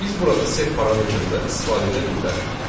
Biz burada sep parametrindən istifadə edə bilmərik.